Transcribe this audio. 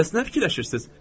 Bəs nə fikirləşirsiz?